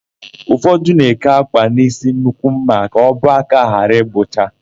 Ụfọdụ na-eke ákwà n'ísí nnukwu ḿmà ka ọbọ aka ha ghara ịgbụcha.